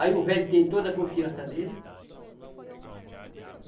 Aí o velho tem toda a confiança nele.